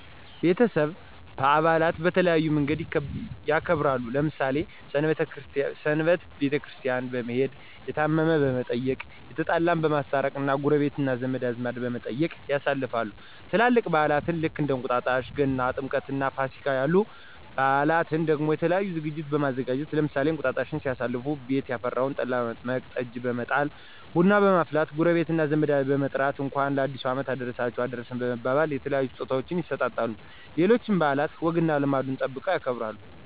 ቤተሰብ በአላትን በተለያየ መንገድ ያከብራሉ። ለምሳሌ ሰንበትን ቤተክርስቲያን በመሄድ፣ የታመመን በመየቅ፣ የተጣላን በማስታረቅ እና ጎረቤት እና ዘመድ በመጠያየቅ ያሳልፋሉ። ትላልቅ በአላን ልክ እንደ እንቁጣጣሽ ገና፣ ጥምቀትእና ፋሲጋ ያሉ በአላትን ደሞ የተለያዩ ዝግጅቶችን በማዘጋጀት ለምሳሌ እንቅጣጣሽን ሲያሳልፉ ቤት ያፈራውን ጠላ በመጥመቅ፣ ጠጅ በመጣል፣ ቡና በመፍላት ጎረቤት እና ዘመድን በመጥራት እንኳን ለአዲሱ አመት አደረሳችሁ አደረሰን በመባባል የተለያዩ ስጦታወችን ይሰጣጣሉ። ሌሎችንም በአላት ወግና ልማዱን ጠብቀው ያከብራሉ።